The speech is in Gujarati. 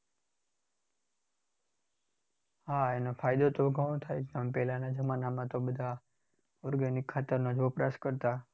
હા એનો ફાયદો તો ઘણો થાય છે. જેમ પહેલા જમાનામાં તો બધા organic ખાતરનો જ વપરાશ કરતા.